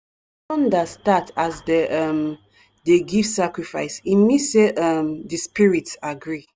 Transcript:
thunder start as dem um dey give sacrifice e mean say um di spirits agree.